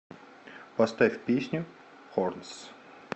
поставь песню хорнс